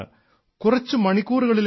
കുറച്ചു മണിക്കൂറുകളിലേക്കു മാത്രം